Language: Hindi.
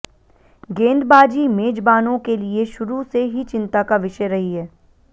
गेंदबाजी मेजबानों के लिए शुरू से ही चिंता का विषय रही है